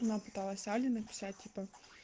она пыталась але написать типа